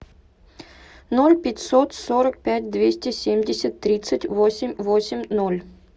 ноль пятьсот сорок пять двести семьдесят тридцать восемь восемь ноль